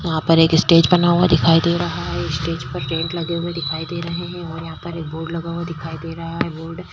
वहां पर एक स्टेज बना हुआ दिखाई दे रहा है। स्टेज पर टेंट लगे हुए दिखाई दे रहे हैं और यहाँ पर एक बोर्ड लगा हुआ दिखाई दे रहा है। बोर्ड --